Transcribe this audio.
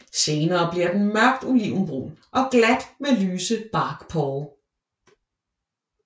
Senere bliver den mørkt olivenbrun og glat med lyse barkporer